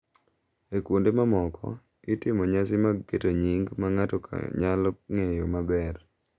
E kuonde mamoko, itimo nyasi mag keto nying’ ma ng’ato nyalo ng’eyo maber.